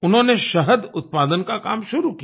उन्होंने शहद उत्पादन का काम शुरू किया